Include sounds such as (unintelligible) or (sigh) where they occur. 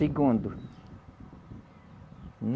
Segundo. (unintelligible)